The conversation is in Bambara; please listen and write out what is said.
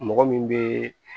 Mɔgɔ min bɛ